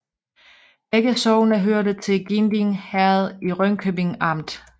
Begge sogne hørte til Ginding Herred i Ringkøbing Amt